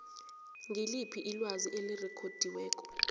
ngiliphi ilwazi elirekhodiweko